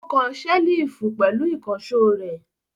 Ó kan ṣẹ́lífù pẹ̀lú ìkànṣó rẹ̀.